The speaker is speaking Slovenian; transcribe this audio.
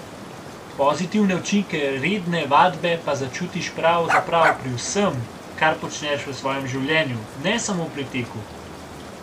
Pozitivne učinke redne vadbe pa začutiš pravzaprav pri vsem, kar počneš v svojem življenju, ne samo pri teku.